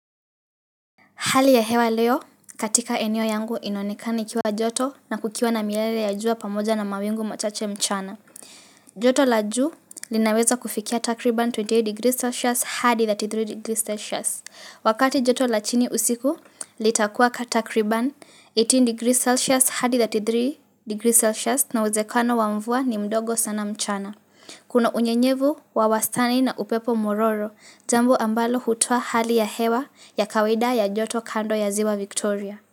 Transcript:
Hali ya hewa leo, katika eneo yangu inaonekana ikiwa joto na kukiwa na miale ya jua pamoja na mawingu machache mchana. Joto la juu linaweza kufikia takriban 28 degrees Celsius hadi 33 degrees Celsius. Wakati joto la chini usiku, litakuwa takriban 18 degrees Celsius hadi 33 degrees Celsius na uwezekano wa mvua ni mdogo sana mchana. Kuna unyenyevu wa wastani na upepo mwororo, jambo ambalo hutoa hali ya hewa ya kawaida ya joto kando ya ziwa Victoria.